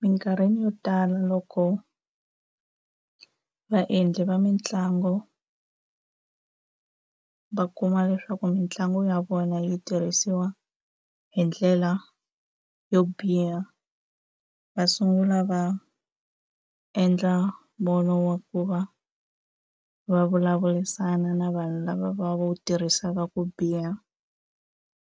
Mikarhini yo tala loko vaendli va mitlangu va kuma leswaku mitlangu ya vona yi tirhisiwa hi ndlela yo biha va sungula va endla mbono wa ku va va vulavurisana na vanhu lava va wu tirhisaka ku biha